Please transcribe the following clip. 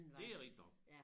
Det er rigtig nok